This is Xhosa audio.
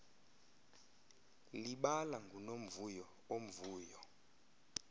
libala ngunomvuyo omvuyo